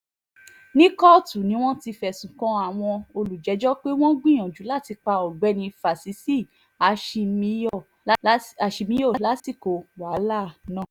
ní kóòtù ni wọ́n ti fẹ̀sùn kan àwọn olùjẹ́jọ́ pé wọ́n gbìyànjú láti pa ọ̀gbẹ́ni fásisì àṣemíyọ̀ lásìkò wàhálà náà